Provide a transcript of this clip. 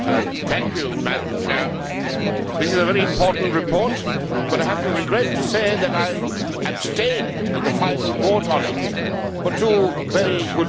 Madam President, this is a very important report, but I regret to say that I abstained in the final vote on it, for two very good reasons.